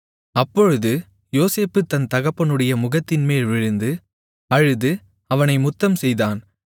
அப்பொழுது யோசேப்பு தன் தகப்பனுடைய முகத்தின்மேல் விழுந்து அழுது அவனை முத்தம்செய்தான்